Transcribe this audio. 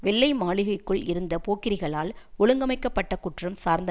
வெள்ளை மாளிகைக்குள் இருந்த போக்கிரிகளால் ஒழுங்கமைக்க பட்ட குற்றம் சார்ந்த